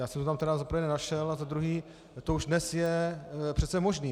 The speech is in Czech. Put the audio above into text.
Já jsem to tam tedy za prvé nenašel a za druhé to už dnes je přece možné.